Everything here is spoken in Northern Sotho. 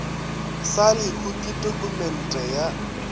sa lehu ke tokumente ya